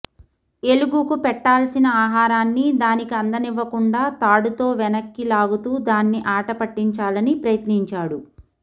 ఎలుగుకు పెట్టాల్సిన ఆహారాన్ని దానికి అందనివ్వకుండా తాడుతో వెనక్కి లాగుతూ దాన్ని ఆటపట్టించాలని ప్రయత్నించాడు